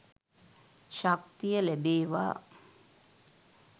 ශක්තිය ලැබේවා